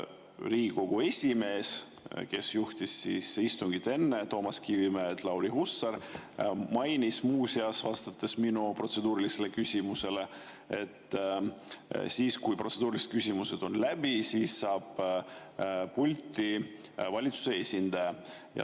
Riigikogu esimees Lauri Hussar, kes juhtis istungit enne Toomas Kivimägi, mainis muuseas, vastates minu protseduurilisele küsimusele, et siis, kui protseduurilised küsimused on läbi, saab pulti valitsuse esindaja.